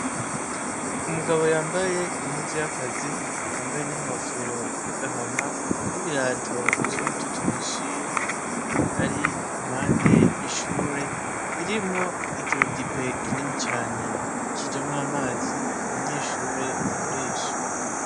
Umugabo yambaye impuzu y'akazi yambaye n'inkofero y'agahama, n'ibirato vy'umutoto uhishiye, ar'impande y'ishure ririmwo ikirudipe kinini cane kijamwo amazi, abanyeshure bakoresha.